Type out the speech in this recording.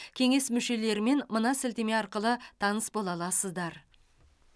кеңес мүшелерімен мына сілтеме арқылы таныс бола аласыздар